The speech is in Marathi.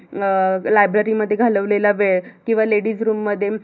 अं library मध्ये घालवलेला वेळ किवा ladies room मध्ये